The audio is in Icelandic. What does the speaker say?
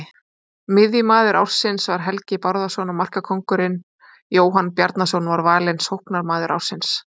Miðjumaður ársins var Helgi Bárðarson og markakóngurinn Jóhann Bjarnason var valinn sóknarmaður ársins.